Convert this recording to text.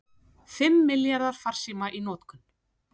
Fimm milljarðar farsíma í notkun